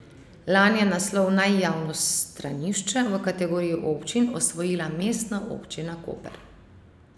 Lani je naslov Naj javno stranišče v kategoriji občin osvojila Mestna občina Koper.